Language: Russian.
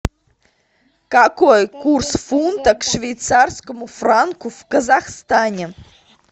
какой курс фунта к швейцарскому франку в казахстане